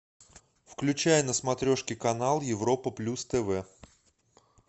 включай на смотрешке канал европа плюс тв